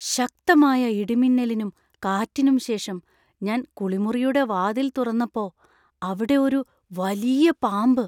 ശക്തമായ ഇടിമിന്നലിനും കാറ്റിനും ശേഷം ഞാൻ കുളിമുറിയുടെ വാതിൽ തുറന്നപ്പോ അവിടെ ഒരു വലിയ പാമ്പ്.